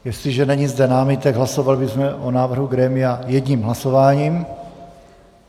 Jestliže není zde námitek, hlasovali bychom o návrhu grémia jedním hlasováním.